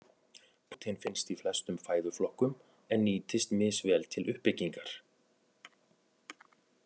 Prótein finnst í flestum fæðuflokkum en nýtist misvel til uppbyggingar.